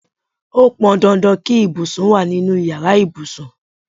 Ó pọn dandan kí ibùsùn wá nínú ìyára ibùsùn.